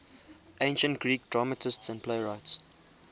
ancient greek dramatists and playwrights